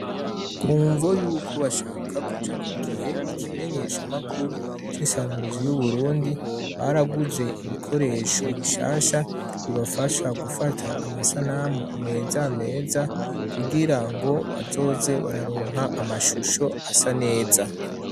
Kumvo y'uko bashaka kuja ku gihe ikimenyeshamakuru c'isamirizi y'uburundi baraguze ibikoresho bishasha bibafasha gufata amasanamu meza meza kugira ngo bazoze bararonka amashusho asa neza.